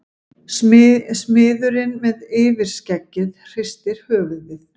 Smiðurinn með yfirskeggið hristir höfuðið.